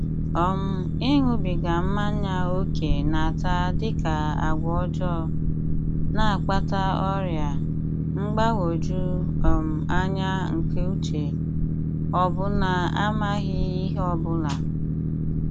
um Ịṅụbiga mmanya ókè na-ata dị ka agwọ ọjọọ, na-akpata ọrịa, mgbagwoju um anya nke uche, ọbụna amaghị ihe ọ bụla.